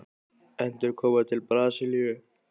Endurkoma til Brasilíu?